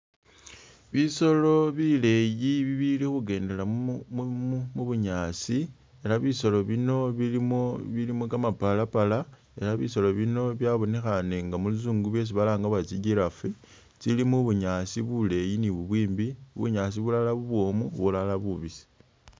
Bisolo bileyi bibili kugendela mu bunyaasi ela bisolo bino bilimo kamapalapala ne bisolo bino byabonekhane inga muluzungu byesi balanga bari tsi'giraffe tsili mu bunyaasi buleyi ni bubwimbi bunyaasi bulala bubwomu bulala bubisi.